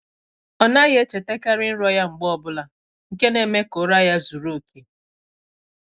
Ọ naghị echetakarị nrọ ya mgbe ọ bụla, nke na-eme ka ụra ya zuru oke.